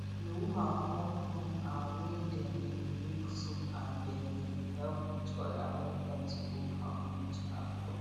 the woman form group um wey dey dey make soap and they dey help each other when time to go farm reach um